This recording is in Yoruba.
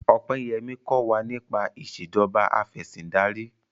Opeyemi kò wá nipa Ìṣèjọba Afẹ̀sìndarí